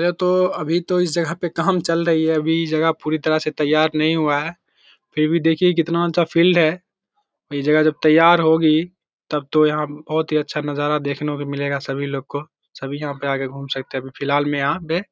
ये तो अभी तो इस जगह पे काम चल रही है अभी ये जगह पूरी तरह से त्तैयार नहीं हुआ है फिर भी देखिए कितना अच्छा फील्ड है ये जगह जब त्तैयार होगी तब तो यहाँ बहुत ही अच्छा नज़ारा देखने को मिलेगा सभी लोगों को सभी यहाँ पे आके घूम सकते हैं अभी फिलहाल में यहाँ पे